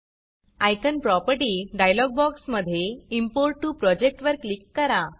icon property icon dialog बॉक्समधे import to project वर click करा